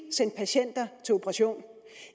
sendt patienter til operation